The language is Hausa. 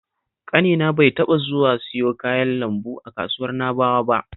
Ƙanina bai taɓa zuwa siyo kayan lambu a kasuwar Na'bawa ba